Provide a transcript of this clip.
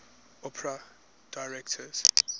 opera directors